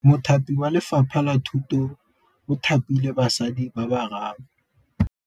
Mothapi wa Lefapha la Thutô o thapile basadi ba ba raro.